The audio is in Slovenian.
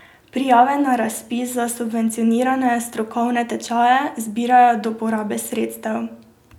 Prijave na razpis za subvencionirane strokovne tečaje zbirajo do porabe sredstev.